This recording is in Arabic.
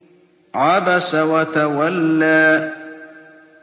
عَبَسَ وَتَوَلَّىٰ